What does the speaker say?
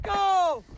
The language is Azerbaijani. Baqqa!